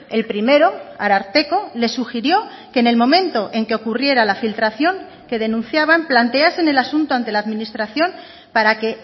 el primero ararteko le sugirió que en el momento en que ocurriera la filtración que denunciaban planteasen el asunto ante la administración para que